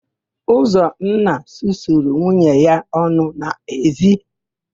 Ụzọnna susuru nwunye ya ọnụ n'ezi.